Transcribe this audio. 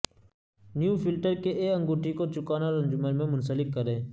new filter کے اے انگوٹی کو چکانا اور انجن میں منسلک کریں